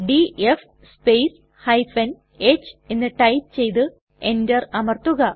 DF space h എന്ന് type ചെയ്തു enter അമർത്തുക